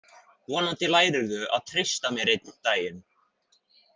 Vonandi lærirðu að treysta mér einn daginn.